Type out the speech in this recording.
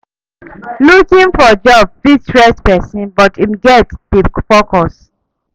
Looking for job fit stress pesin but im gats dey focused.